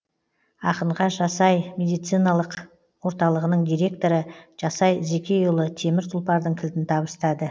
ақынға жас ай медициналық орталығының директоры жасай зекейұлы темір тұлпардың кілтін табыстады